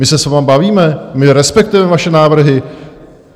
My se s vámi bavíme, my respektujeme vaše návrhy.